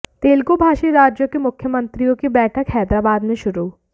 तेलुगु भाषी राज्यों के मुख्यमंत्रियों की बैठक हैदराबाद में शुरू